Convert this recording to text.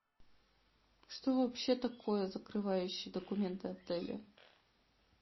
что вообще такое закрывающие документы отеля